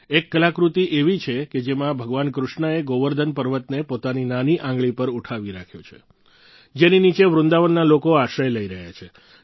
એક કલાકૃતિ એવી છે કે જેમાં ભગવાન કૃષ્ણએ ગોવર્ધન પર્વતને પોતાની નાની આંગળી પર ઉઠાવી રાખ્યો છે જેની નીચે વૃંદાવનના લોકો આશ્રય લઈ રહ્યા છે